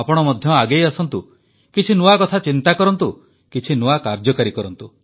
ଆପଣ ମଧ୍ୟ ଆଗେଇ ଆସନ୍ତୁ କିଛି ନୂଆ କଥା ଚିନ୍ତା କରନ୍ତୁ କିଛି ନୂଆ କାର୍ଯ୍ୟକାରୀ କରନ୍ତୁ